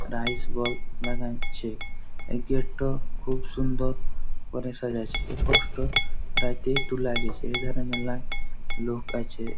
Iceberg দেখা যাচ্ছে এই গেট -টা খুব সুন্দর করে সাজাইছে এ ফটো টা- লোক আছে।